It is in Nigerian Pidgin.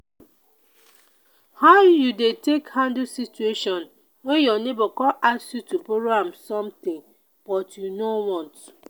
how you dey take handle situation when your neighbor come ask you to borrow am something but you no want?